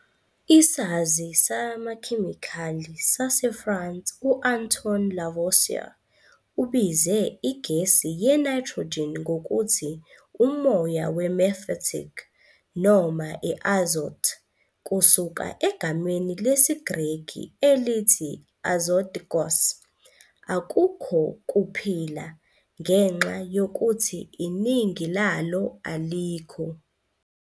Isazi samakhemikhali saseFrance u-Antoine Lavoisier ubize igesi ye-nitrogen ngokuthi "umoya we-mephitic" noma i-azote, kusuka egameni lesiGreki elithi, azotikos, "akukho kuphila", ngenxa yokuthi iningi lalo alikho.